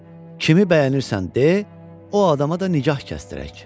Kimi bəyənirsən de, o adama da nikah kəsdirək.